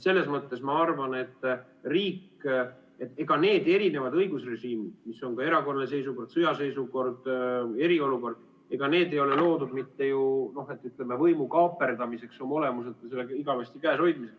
Selles mõttes ma arvan, et ega need erinevad õigusrežiimid, mis on ka erakorraline seisukord, sõjaseisukord, eriolukord, ei ole loodud, ütleme, võimu kaaperdamiseks oma olemuselt, selle igavesti käes hoidmiseks.